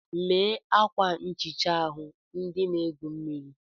Lee ákwà nchịcha ahụ ndị na-egwu mmiri.